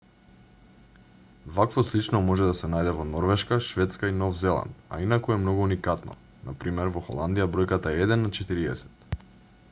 вакво слично може да се најде во норвешка шведска и нов зеланд a инаку е многу уникатно на пр. во холандија бројката е еден на четириесет